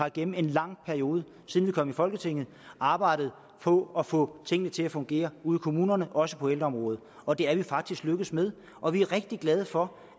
igennem en lang periode siden vi kom i folketinget har arbejdet på at få tingene til at fungere ude i kommunerne også på ældreområdet og det er vi faktisk lykkedes med og vi er rigtig glade for